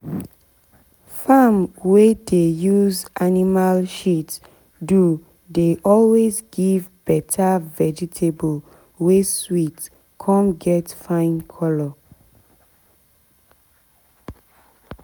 farm wey dey use animal shit do dey always give better vegetable wey sweet cum get fine colour.